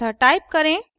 अतः टाइप करें :